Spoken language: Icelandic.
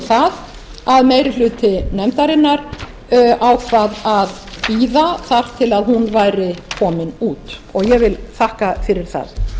það að meiri hluti nefndarinnar ákvað að bíða þar til hún væri komin út og ég vil þakka fyrir það